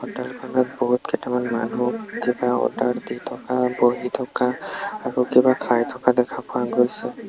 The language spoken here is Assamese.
হোটেল খনত বহুতকেটামান মানুহ কিবা অৰ্ডাৰ দি থকা বহি থকা আৰু কিবা খাই থকা দেখা পোৱা গৈছে।